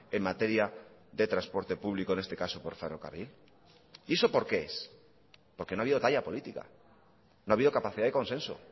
en materia de transporte público en este caso por ferrocarril y eso por qué es porque no ha habido talla política no ha habido capacidad de consenso